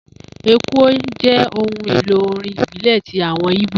Ekwe jẹ́ ohun èlò orin ìbílẹ̀ ti àwọn ìbó